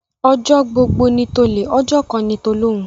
Ọjọ́ gbogbo ni tolè, ọjọ́ kan ni tolóhun.